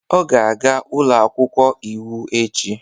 Ọ ga-aga ụlọ akwụkwọ iwu echi